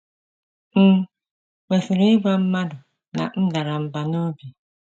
M̀ Kwesịrị Ịgwa Mmadụ na M Dara Mbà n’Obi? ”